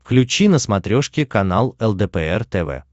включи на смотрешке канал лдпр тв